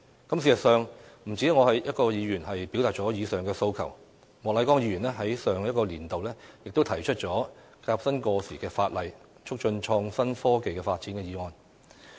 事實上，不止我一位議員表達了以上的訴求，莫乃光議員在上一個年度亦提出了"革新過時法例，促進創新科技發展"的議案。